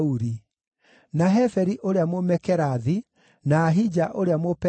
na Heferi ũrĩa Mũmekerathi, na Ahija ũrĩa Mũpeloni,